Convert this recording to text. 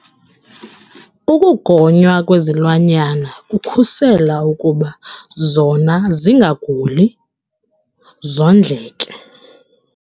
Ukugonywa kwezilwanyana kukhusela ukuba zona zingaguli, zondleke.